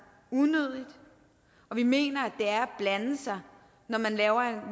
unødigt og vi mener det er blande sig når man